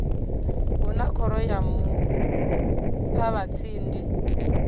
hu na khoro ya muṱavhatsindi